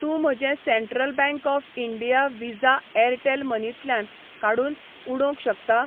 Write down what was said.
तूं म्हजें Central Bank of India Visa Airtel मनीतल्यान काडून उडोवंक शकता?